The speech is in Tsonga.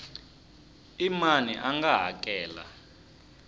i mani a nga hakela